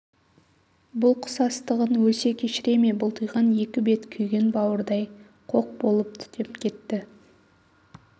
бұл қысастығын өлсе кешіре ме бұлтиған екі бет күйген бауырдай қоқ болып түтеп кетті